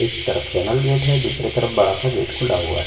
एक तरफ channel gate है दूसरे तरफ बड़ा सा गेट खुला हुआ है।